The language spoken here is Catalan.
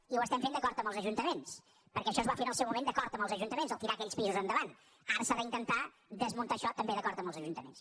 i ho estem fent d’acord amb els ajuntaments perquè això es va fer en el seu moment d’acord amb els ajuntaments tirar aquells pisos endavant ara s’ha d’intentar desmuntar això també d’acord amb els ajuntaments